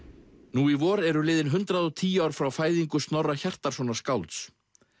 nú í vor eru liðin hundrað og tíu ár frá fæðingu Snorra Hjartarsonar skálds